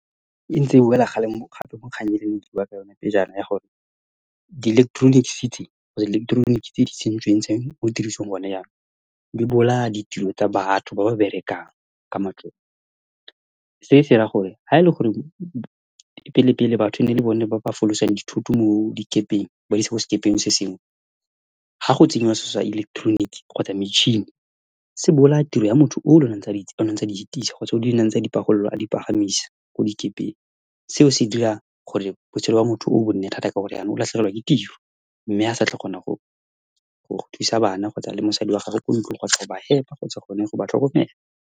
E ntse e wela gape mo kgannyeng e le e kene ke bua ka yone ya gore di-electronic city, di-electronic tse di tsentsweng tse mo tirisong gone jaanong, di bolaya ditiro tsa batho ba ba berekang ka matsogo. Se se raya gore ha e le gore pele-pele batho e ne e le bone ba ba folosang dithoto mo dikepeng, ba isa ko sekepeng se sengwe, ha go tsenngwa selo sa electronic kgotsa metšhini, se bolaya tiro ya motho ole one a ntse a di fitisa kgotsa a ntse a di pagolola, a di palamisa ko dikepeng. Seo se dira gore botshelo jwa motho yoo bo nne thata ka gore jaanong o latlhegelwa ke tiro mme a sa tlhole a kgona go thusa bana kgotsa le mosadi wa gagwe kwa ntlong kgotsa go ba fepa kgotsa gone go ba tlhokomela.